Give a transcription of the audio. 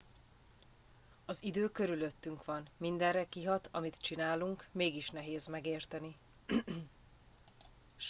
az idő körülöttünk van mindenre kihat amit csinálunk mégis nehéz megérteni